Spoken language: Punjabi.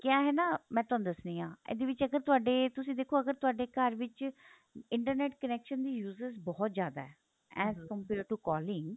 ਕਿਆ ਹੈ ਨਾ ਮੈਂ ਤੁਹਾਨੂੰ ਦੱਸਦੀ ਆ ਇਹਦੇ ਵਿੱਚ ਅਗਰ ਤੁਹਾਡੇ ਤੁਸੀਂ ਦੇਖੋ ਅਗਰ ਤੁਹਾਡੇ ਘਰ ਵਿੱਚ internet connection ਦੀ uses ਬਹੁਤ ਜਿਆਦਾ as compare to calling